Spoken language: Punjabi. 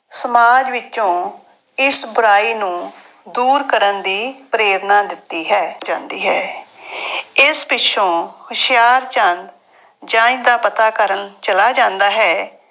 ਸਮਾਜ ਵਿੱਚੋਂ ਇਸ ਬੁਰਾਈ ਨੂੰ ਦੂਰ ਕਰਨ ਦੀ ਪ੍ਰੇਰਨਾ ਦਿੱਤੀ ਹੈ, ਜਾਂਦੀ ਹੈ ਇਸ ਪਿੱਛੋਂ ਹੁਸ਼ਿਆਰਚੰਦ ਜੰਞ ਦਾ ਪਤਾ ਕਰਨ ਚਲਾ ਜਾਂਦਾ ਹੈ।